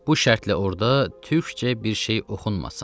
Bu şərtlə orda türkcə bir şey oxunmasın.